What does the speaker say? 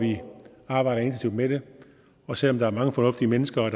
arbejder intensivt med det og selv om der er mange fornuftige mennesker i